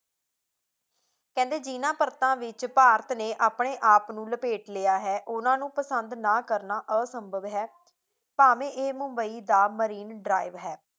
ਕਹਿੰਦੇ ਜਿਨ੍ਹਾਂ ਪਰਤਾਂ ਵਿੱਚ ਭਾਰਤ ਨੇ ਆਪਣੇ ਆਪ ਨੂੰ ਲਪੇਟ ਲਿਆ ਹੈ ਉਨ੍ਹਾਂਨੂੰ ਪਸੰਦ ਨਾ ਕਰਨਾ ਅਸੰਭਵ ਹੈ, ਭਾਵੇਂ ਇਹ ਮੁੰਬਈ ਦਾ marine drive ਹੈ